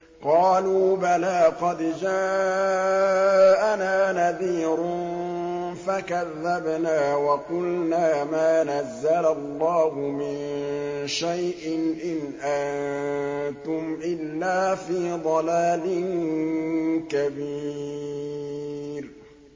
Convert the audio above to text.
قَالُوا بَلَىٰ قَدْ جَاءَنَا نَذِيرٌ فَكَذَّبْنَا وَقُلْنَا مَا نَزَّلَ اللَّهُ مِن شَيْءٍ إِنْ أَنتُمْ إِلَّا فِي ضَلَالٍ كَبِيرٍ